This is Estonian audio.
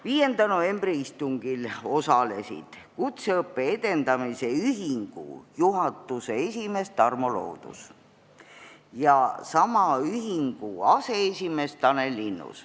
5. novembri istungil osalesid kutseõppe edendamise ühingu juhatuse esimees Tarmo Loodus ja sama ühingu aseesimees Tanel Linnus.